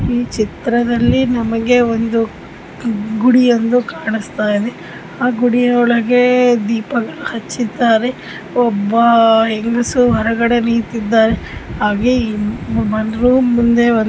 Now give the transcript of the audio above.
ಈ ಚಿತ್ರದಲ್ಲಿ ನಮಗೆ ಒಂದು ಗುಡಿಯೊಂದು ಕಾಣಿಸ್ತಾಯ್ದೆ ಆ ಗುಡಿಯೊಳಗೇ ದೀಪಗಳ ಹಚ್ಚಿದ್ದಾರೆ. ಒಬ್ಬ ಅಹ್ ಹೆಂಗಸು ಹೊರಗಡೆ ನಿಂತಿದ್ದಾರೆ ಹಾಗೆ ಈ